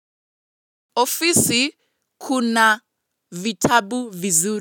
Ofisi kuna vitabu vizuri.